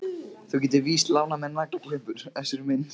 Þú getur víst ekki lánað mér naglaklippur Össur minn.